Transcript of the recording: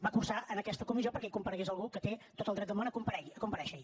va cursar en aquesta comissió perquè hi comparegués algú que té tot el dret del món a comparèixer hi